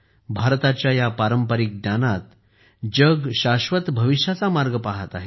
भारताच्या या पारंपारिक ज्ञानात जग शाश्वत भविष्याचा मार्ग पाहत आहे